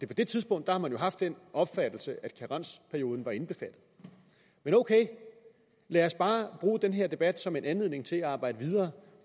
på det tidspunkt har man jo haft den opfattelse at karensperioden var indbefattet men ok lad os bare bruge den her debat som en anledning til at arbejde videre